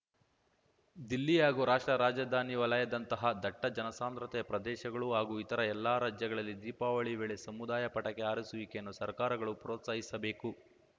ದಿಲ್ಲಿ ಹಾಗೂ ರಾಷ್ಟ್ರ ರಾಜಧಾನಿ ವಲಯದಂತಹ ದಟ್ಟಜನಸಾಂದ್ರತೆಯ ಪ್ರದೇಶಗಳು ಹಾಗೂ ಇತರ ಎಲ್ಲಾ ರಾಜ್ಯಗಳಲ್ಲಿ ದೀಪಾವಳಿ ವೇಳೆ ಸಮುದಾಯ ಪಟಾಕಿ ಹಾರಿಸುವಿಕೆಯನ್ನು ಸರ್ಕಾರಗಳು ಪ್ರೋತ್ಸಾಹಿಸಬೇಕು